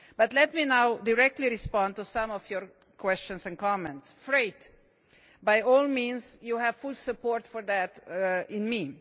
Let me now directly respond to some of your questions and comments. As regards freight, by all means, you have full support for that from me.